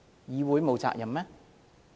議會沒有責任嗎？